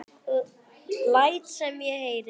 Læt sem ég heyri.